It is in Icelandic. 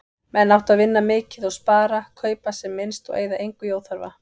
Menn áttu að vinna mikið og spara, kaupa sem minnst og eyða engu í óþarfa.